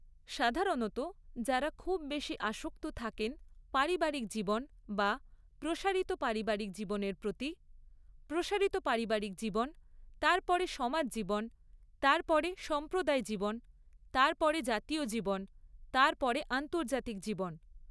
সাধারণত যারা খুব বেশি আসক্ত থাকেন পারিবারিক জীবন বা প্রসারিত পারিবারিক জীবনের প্ৰতি, প্রসারিত পারিবারিক জীব্‌ তারপরে সমাজ জীবন, তারপরে সম্প্রদায় জীবন, তারপরে জাতীয় জীবন, তারপরে আন্তর্জাতিক জীবন।